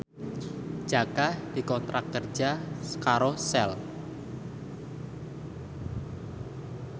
Jaka dikontrak kerja karo Shell